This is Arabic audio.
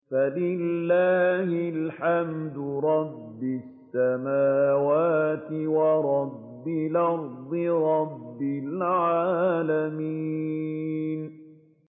فَلِلَّهِ الْحَمْدُ رَبِّ السَّمَاوَاتِ وَرَبِّ الْأَرْضِ رَبِّ الْعَالَمِينَ